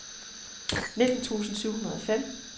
nitten tusind syv hundrede og fem